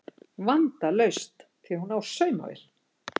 Vandalaust því hún á saumavél